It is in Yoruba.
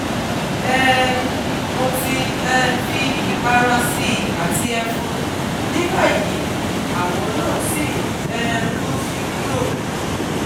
um Mo ti um fi ipara si i ati efun, nibayi awo na si um n si kuro